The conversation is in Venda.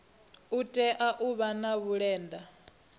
tea u vha na vhulenda